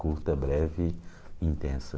Curta, breve, intensa.